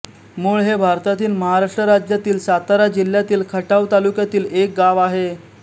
मोळ हे भारतातील महाराष्ट्र राज्यातील सातारा जिल्ह्यातील खटाव तालुक्यातील एक गाव आहे